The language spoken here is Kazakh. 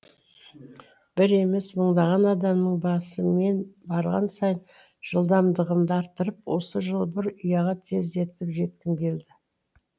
бір емес мыңдаған адамның басы мен барған сайын жылдамдығымды арттырып осы жылы бір ұяға тездетіп жеткім келді